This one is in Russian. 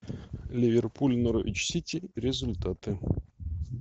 ливерпуль норвич сити результаты